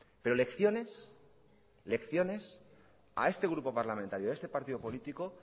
pero lecciones lecciones a este grupo parlamentario y a este partido político